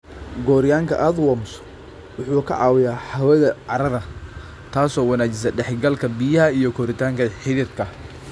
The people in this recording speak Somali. Gooryaanka Earthworms waxa uu caawiyaa hawada carrada, taas oo wanaajisa dhex galka biyaha iyo koritaanka xididka.